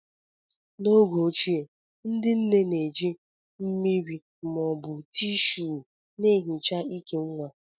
N'oge ochie, ndị nne na-eji mmiri ma ọ bụ Tíshúú na-ehicha ìkè nwa